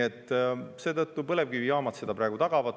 Praegu põlevkivijaamad meile energia tagavad.